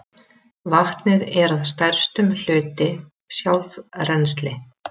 Vatnið er að stærstum hluti sjálfrennsli